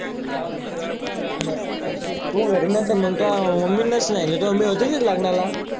नाही तु घरी नसेल मंग तुया mammy च नेल तुझी mammy होती तीत लगनाला.